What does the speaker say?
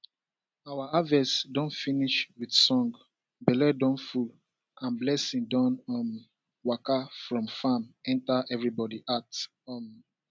our harvest don finish with song belle don full and blessing don um waka from farm enter everybody heart um